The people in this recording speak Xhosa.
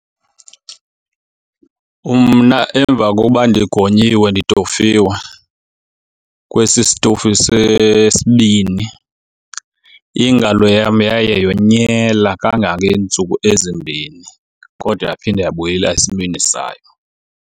Mna emva kokuba ndigonyiwe nditofiwe kwesi sitofu sesibini ingalo yam yaye yonyela kangangeentsuku ezimbini, kodwa yaphinda yabuyela esimeni sayo.